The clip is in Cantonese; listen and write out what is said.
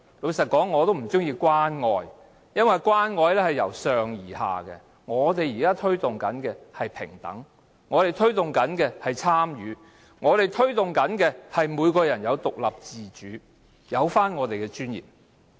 老實說，我不喜歡用"關愛"一詞，因為關愛是由上而下的，但我們現時推動的是平等、參與，以及每個人都能夠獨立自主，並有尊嚴。